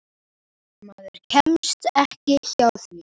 Maður kemst ekki hjá því.